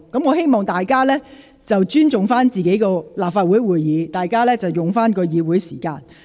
我希望大家尊重立法會會議，並善用議會時間。